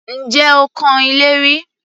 Ǹjẹ́ o kan ilé rí?